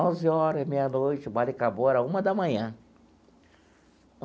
Onze horas, meia-noite, o baile acabou, era uma da manhã.